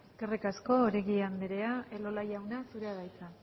eskerrik asko oregi andrea elola jauna zurea da hitza